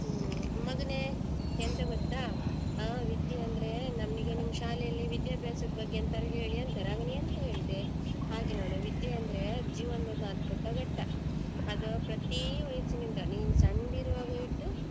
ಹ್ಮ್ ಮಗನೇ ಎಂತ ಗೊತ್ತ ಆ ವಿದ್ಯೆ ಅಂದ್ರೆ ನಮಿಗೆ ನಿಮ್ ಶಾಲೆಯಲ್ಲಿ ವಿದ್ಯಾಭ್ಯಾಸದ್ ಬಗ್ಗೆ ಎಂತಾರು ಹೇಳಿ ಅಂತಾರೆ ಆಗ ನೀನ್ ಎಂತ ಹೇಳ್ತೆ ಹಾಗೆ ನೋಡು ವಿದ್ಯೆ ಅಂದ್ರೆ ಜೀವನ್ದೊಂದು ಅಧ್ಭುತ ಘಟ್ಟ ಅದು ಪ್ರತಿ ವಯಸ್ಸಿನಿಂದ ನೀನ್ ಸಣ್ಣ್ದಿರುವಾಗ ಹಿಡ್ದು.